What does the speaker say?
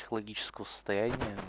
экологического состояния